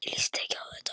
Mér líst ekki á þetta.